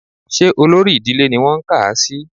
Ṣé olórí ìdílé ni wọ́n kà á sí